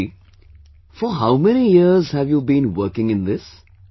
Gaurav ji for how many years have you been working in this